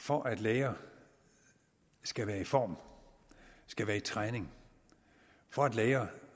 for at læger skal være i form skal være i træning for at læger